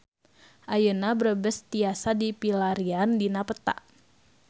Ayeuna Brebes tiasa dipilarian dina peta